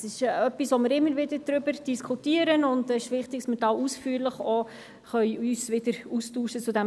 Es ist etwas, worüber wir immer wieder diskutieren, und es ist wichtig, dass wir uns ausführlich zu diesem Thema austauschen können.